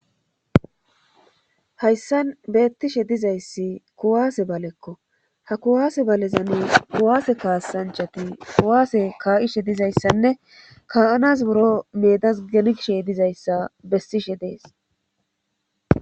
hayssan beettishe dizayssi kuwaase balekko ha kuwaase balezani kuwaase kaassanchati kuwaase kaa7ishe dizayssanne ka7anas buro meedas gengshe dizayssa bessishe dees